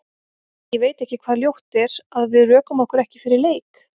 Ég veit ekki hvað ljótt er, að við rökum okkur ekki fyrir leik?